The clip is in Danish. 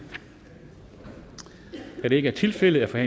da det ikke er tilfældet er